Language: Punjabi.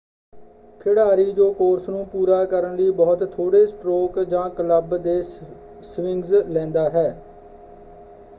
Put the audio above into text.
ਖਿਡਾਰੀ ਜੋ ਕੋਰਸ ਨੂੰ ਪੂਰਾ ਕਰਨ ਲਈ ਬਹੁਤ ਥੋੜ੍ਹੇ ਸਟ੍ਰੋਕ ਜਾਂ ਕਲੱਬ ਦੇ ਸਵਿੰਗਸ ਲੈਂਦਾ ਹੈ।